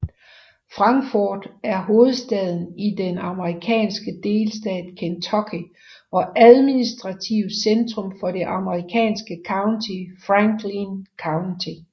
Frankfort er hovedstad i den amerikanske delstat Kentucky og administrativt centrum for det amerikanske county Franklin County